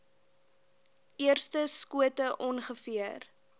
eerste skote ongeveer